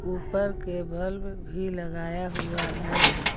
ऊपर के बल्ब भी लगाया हुआ है।